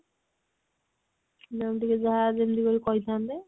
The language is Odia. ma'am ଟିକେ ଯାହା ଯେମତି ହଉ କହିଥାନ୍ତେ